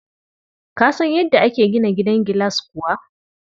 Ka san yadda ake gina gidan gilas kuwa?